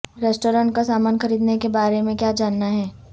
restaurant کا سامان خریدنے کے بارے میں کیا جاننا ہے